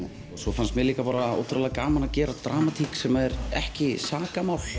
svo finnst mér líka ótrúlega gaman að gera dramatík sem er ekki sakamál